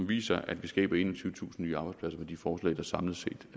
viser at vi skaber enogtyvetusind nye arbejdspladser med de forslag der samlet set